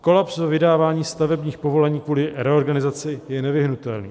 Kolaps ve vydávání stavebních povolení kvůli reorganizaci je nevyhnutelný."